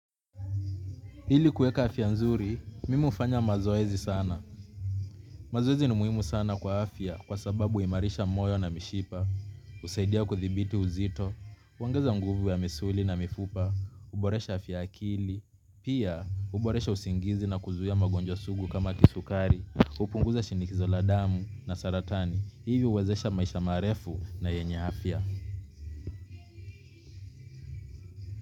Ili kueka afya nzuri, mimi hufanya mazoezi sana. Mazoezi ni muhimu sana kwa afya kwa sababu huimarisha moyo na mishipa, husaidia kuthibiti uzito, huongeza nguvu ya misuli na mifupa, huboresha afya ya akili, pia huboresha usingizi na kuzuia magonjwa sugu kama kisukari, upunguza shinikizo la damu na saratani, hivi huwezesha maisha marefu na yenye afya.